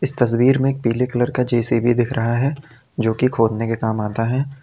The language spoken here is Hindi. तस्वीर में पीले कलर का जे_सी_बी दिख रहा है जो की खोदने के काम आता है।